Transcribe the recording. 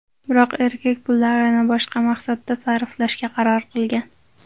Biroq erkak pullarni boshqa maqsadda sarflashga qaror qilgan.